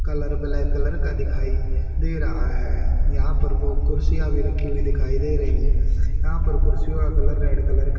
colour black colour का दिखाई दे रहा है यहां पर वो कुर्सियां भी रखी हुयी दिखाई दे रहीं हैं यहां पर कुर्सियों का कलर रेड कलर --